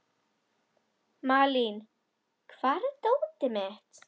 Malín, hvar er dótið mitt?